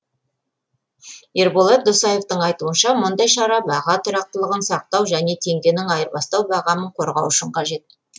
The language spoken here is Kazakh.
ерболат досаевтың айтуынша мұндай шара баға тұрақтылығын сақтау және теңгенің айырбастау бағамын қорғау үшін қажет